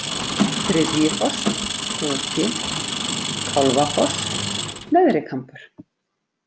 Þriðjifoss, Púki, Kálfafoss, Neðri-Kambur